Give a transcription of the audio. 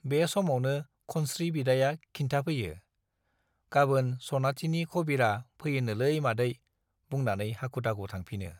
बे समावनो खनस्री बिदाया खिन्थाफैयो , गाबोन सनाथिनि खबिरा फैयोनोलै मादै बुंनानैनो हाखु- दाखु थांफिनो ।